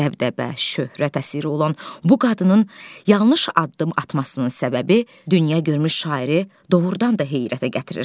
Dəbdəbə, şöhrət əsiri olan bu qadının yanlış addım atmasının səbəbi dünya görmüş şairi doğurdan da heyrətə gətirir.